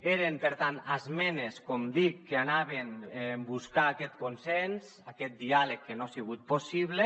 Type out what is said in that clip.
eren per tant esmenes com dic que anaven a buscar aquest consens aquest diàleg que no ha sigut possible